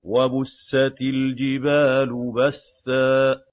وَبُسَّتِ الْجِبَالُ بَسًّا